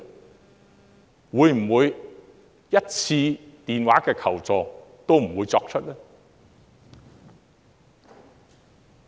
是否連1次電話求助也不會作出呢？